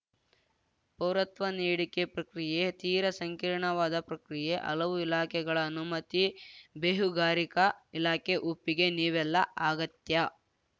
ಪೌರತ್ವ ನೀಡಿಕೆ ಪ್ರಕ್ರಿಯೆ ತೀರ ಸಂಕೀರ್ಣವಾದ ಪ್ರಕ್ರಿಯೆ ಹಲವು ಇಲಾಖೆಗಳ ಅನುಮತಿ ಬೇಹುಗಾರಿಕಾ ಇಲಾಖೆ ಒಪ್ಪಿಗೆ ನೀವೆಲ್ಲಾ ಅಗತ್ಯ